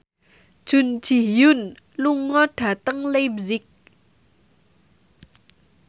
Jun Ji Hyun lunga dhateng leipzig